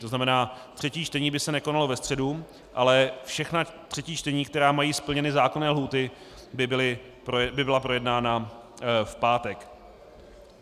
To znamená, třetí čtení by se nekonalo ve středu, ale všechna třetí čtení, která mají splněné zákonné lhůty, by byla projednána v pátek.